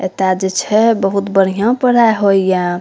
एता जे छै बहुत बढ़िया पढ़ाय होय ये।